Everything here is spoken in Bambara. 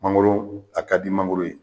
Mangoro a ka di mangoro ye